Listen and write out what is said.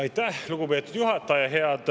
Aitäh, lugupeetud juhataja!